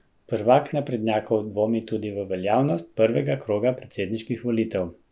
Prvak naprednjakov dvomi tudi v veljavnost prvega kroga predsedniških volitev.